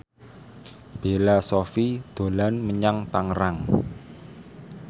Bella Shofie dolan menyang Tangerang